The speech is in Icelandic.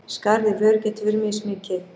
Skarð í vör getur verið mismikið.